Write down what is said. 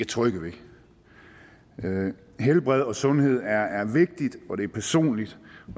trygge ved helbred og sundhed er er vigtigt og det er personligt